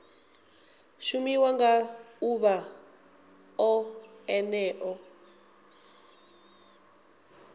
shumiwa nga ḓuvha o ḽeneo